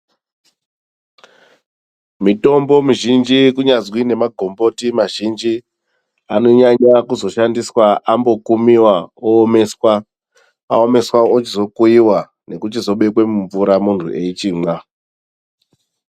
Mutombo mizhinji kunyazi nemagomboti mazhinji anonyanya kuzoshandiswa ambokumiwa owomeswa, awoneswa ochizo kuyiwa nekuchinobekwa mumvura muntu eyichimwa.